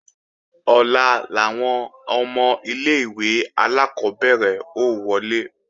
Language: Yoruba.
Ọ̀la làwọn ọmọ ilé-ìwé alákọ́bẹ̀rẹ̀ ó wọlé